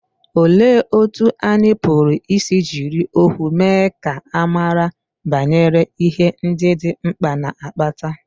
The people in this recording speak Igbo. Olee otú anyị pụrụ isi jiri ọnwụ mee ka a mara banyere ihe ndị dị mkpa na-akpata?